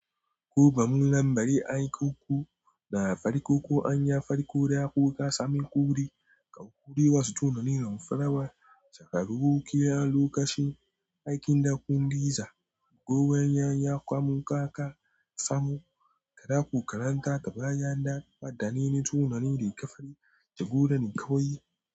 Kobamun lambari aikoku na farikoko an ya fariko da kuka sami kure, ka kure wasu tunanin farawa, saka rukukiya lokacin aikin dakun diza, kokarin ya ya kwamun kaka samu, ka dako karanta ka baya daka, faɗa nini tunani da ka fari, jagora ni kawai.